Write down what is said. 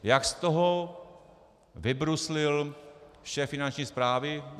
Jak z toho vybruslil šéf Finanční správy?